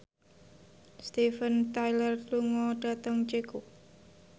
Steven Tyler lunga dhateng Ceko